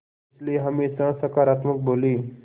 इसलिए हमेशा सकारात्मक बोलें